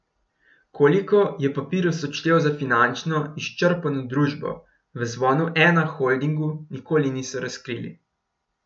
Koliko je Papirus odštel za finančno izčrpano družbo, v Zvonu Ena Holdingu nikoli niso razkrili.